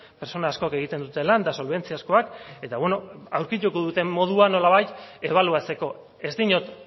pertsona asko egiten dute lan eta solbentziazkoak eta beno aurkituko dute modua nolabait ebaluatzeko ez diot